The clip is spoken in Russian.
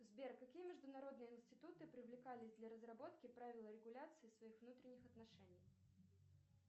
сбер какие международные институты привлекались для разработки правил регуляции своих внутренних отношений